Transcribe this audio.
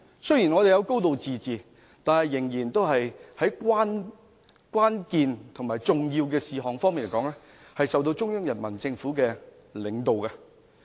雖然香港有"高治自治"，但在關鍵和重要的事項上，仍由中央人民政府領導。